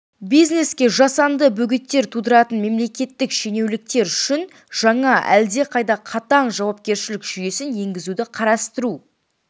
бизнеске жасанды бөгеттер тудыратын мемлекеттік шенеуніктер үшін жаңа әлдеқайда қатаң жауапкершілік жүйесін енгізуді қарастыру